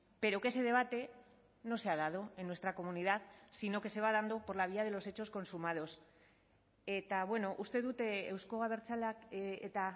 pero que ese debate no se ha dado en nuestra comunidad sino que se va dando por la vía de los hechos consumados eta uste dut euzko abertzaleak eta